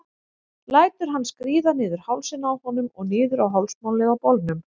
Lætur hann skríða niður hálsinn á honum og niður á hálsmálið á bolnum.